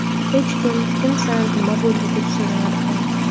Hech kim kimsan, nima bo‘ldi deb so‘ramadi ham.